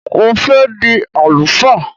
Mo fẹ́ di àlùfáà